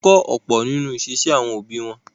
Wọ́n ń kọ́ ọ̀pọ̀ nínú ìṣesí àwọn òbí wọn.